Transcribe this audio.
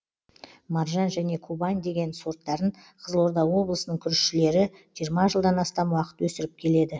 маржан және кубань деген сорттарын қызылорда облысының күрішшілері жиырма жылдан астам уақыт өсіріп келеді